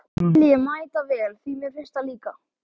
Það skil ég mætavel, því mér finnst það líka!